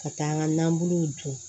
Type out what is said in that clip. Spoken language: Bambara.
Ka taa n ka nabuluw dun